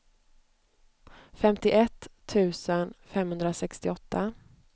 femtioett tusen femhundrasextioåtta